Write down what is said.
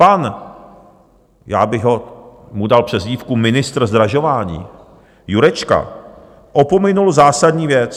Pan - já bych mu dal přezdívku ministr zdražování - Jurečka opominul zásadní věc.